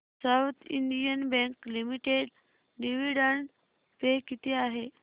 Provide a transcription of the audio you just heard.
south Indian bank limited dividend pay किती आहे